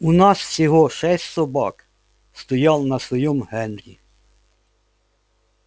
у нас всего шесть собак стоял на своём генри